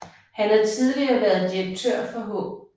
Han har tidligere været direktør for H